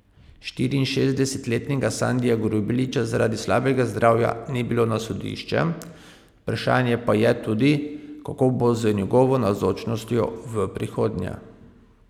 Štiriinšestdesetletnega Sandija Grubeliča zaradi slabega zdravja ni bilo na sodišče, vprašanje pa je tudi, kako bo z njegovo navzočnostjo v prihodnje.